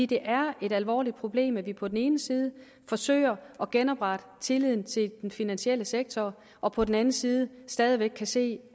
det er et alvorligt problem at vi på den ene side forsøger at genoprette tilliden til den finansielle sektor og på den anden side stadig væk kan se